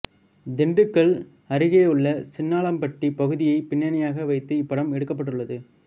திண்டுக்கல் அருகேயுள்ள சின்னாளப்பட்டி பகுதியை பின்னணியாக வைத்து இப்படம் எடுக்கப்பட்டுள்ளது